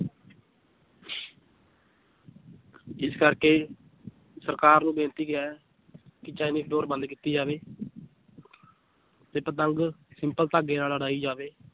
ਇਸ ਕਰਕੇ ਸਰਕਾਰ ਨੂੰ ਬੇਨਤੀ ਹੈ ਚਾਈਨੀਜ ਡੋਰ ਬੰਦ ਕੀਤੀ ਜਾਵੇ ਤੇ ਪਤੰਗ ਸਿੰਪਲ ਧਾਗੇ ਨਾਲ ਉੱਡਾਈ ਜਾਵੇ